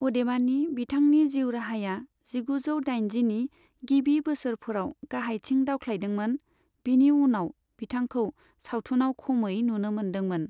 अदेबानि, बिथांनि जिउराहाया जिगुजौ दाइनजिनि गिबि बोसोरफोराव गाहायथिं दावख्लादोंमोन, बिनि उनाव बिथांखौ सावथुनाव खमै नुनो मोनदोंमोन।